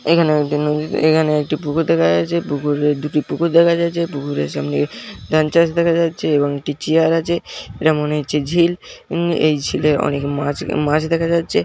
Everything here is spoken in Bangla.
এখানে একটি নদীতে এখানে একটি পুকুর দেখা যাচ্ছে পুকুরের দুটি পুকুর দেখা যাচ্ছে পুকুরের সামনে ধান চাষ দেখা যাচ্ছে এবং একটি চিয়ার আছে এটা মনে হচ্ছে ঝিল উম এই ঝিলে অনেক মাছ উ মাছ দেখা যাচ্ছে।